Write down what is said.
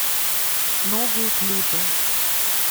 новые клипы